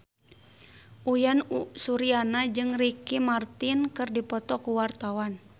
Uyan Suryana jeung Ricky Martin keur dipoto ku wartawan